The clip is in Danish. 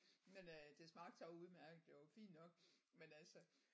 Men øh det smagte så udemærket det var jo fint nok men altså